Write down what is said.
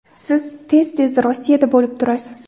Siz tez-tez Rossiyada bo‘lib turasiz.